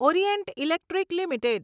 Orient Electric limited